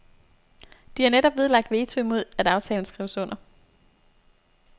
De har netop nedlagt veto imod at aftalen skrives under.